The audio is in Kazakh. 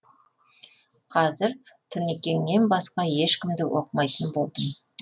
қазір тыныкеңнен басқа ешкімді оқымайтын болдым